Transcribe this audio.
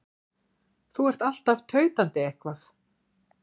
Þú ert alltaf tautandi eitthvað.